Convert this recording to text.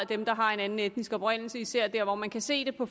dem der har en anden etnisk oprindelse især der hvor man kan se det på